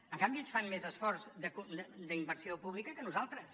en canvi ells fan més esforç d’inversió pública que nosaltres